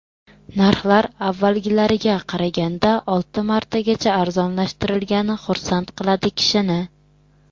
Narxlar avvalgilariga qaraganda olti martagacha arzonlashtirilgani xursand qiladi kishini.